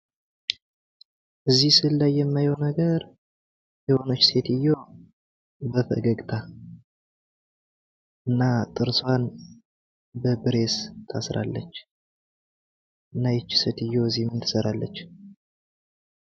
እዚህ ስዕል ላይ የማየው ነገር የሆነች ሴትዮ በፈገግታ እና ጥርሶን በብሬስ ታስራለች። እና እቺ ሴትዮ እዚ ምን ትሰራለች ?